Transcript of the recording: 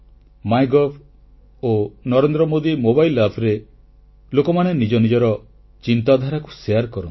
MyGov ଓ Narendra Modi mobile Appରେ ଲୋକମାନେ ନିଜ ନିଜର ଚିନ୍ତାଧାରାକୁ ବାଂଟନ୍ତି